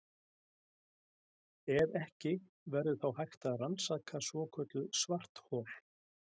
Ef ekki, verður þá hægt að rannsaka svokölluð svarthol?